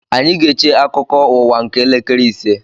Anyị ga-eche akụkọ ụwa nke elekere ise